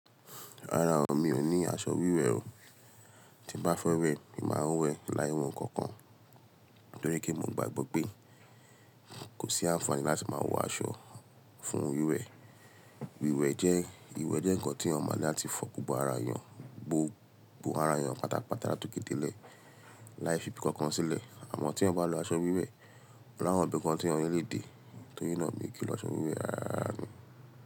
Rárá o, mi ò ní aṣọ wíwẹ̀ o. Tí n bá fẹ́ wẹ́, mi máa ń wẹ́ láì wọ nǹkan kan nítorí pe mo gbàgbọ́ pé kò sí àǹfààní láti máa wọ aṣọ fún wíwẹ̀. Iwẹ jẹ́, ìwẹ jẹ ǹkan tí èèyàn máa láti fọ gbogbo ara èèyàn, gbó gbogbo ara èèyàn pátápátá látòkè dé ilẹ láì fi'bi kankan sílẹ. Àmọ́ tí ẹ bá lọ aṣọ wíwẹ̀, ọ̀la wọ́n bí ǹkan tí wọn yóò lè dé, torí náà mi ò gé lọ aṣọ wíwẹ̀ rárá mi.